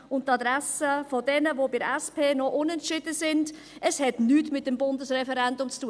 Und an die Adresse derer, die bei der SP noch unentschieden sind: Es hat mit dem Bundesreferendum zu tun.